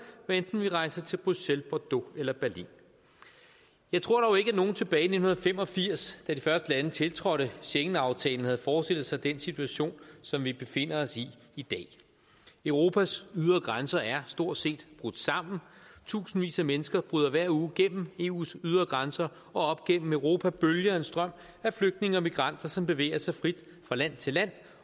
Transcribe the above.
hvad enten vi rejser til bruxelles bordeaux eller berlin jeg tror dog ikke at nogen tilbage i nitten fem og firs da de første lande tiltrådte schengenaftalen havde forestillet sig den situation som vi befinder os i i dag europas ydre grænser er stort set brudt sammen tusindvis af mennesker bryder hver uge gennem eus ydre grænser og op gennem europa bølger en strøm af flygtninge og migranter som bevæger sig frit fra land til land